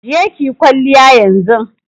Je ki yi kwalliya yanzun!